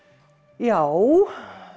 já